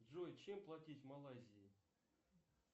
джой чем платить в малайзии